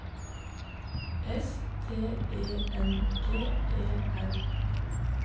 S T E N G E R